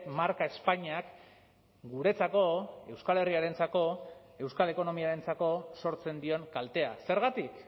marka espainiak guretzako euskal herriarentzako euskal ekonomiarentzako sortzen dion kaltea zergatik